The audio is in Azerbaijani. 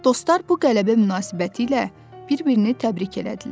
Dostlar bu qələbə münasibətilə bir-birini təbrik elədilər.